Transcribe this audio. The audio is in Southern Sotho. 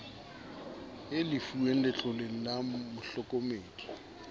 a lefuweng letloleng la mohlokomedi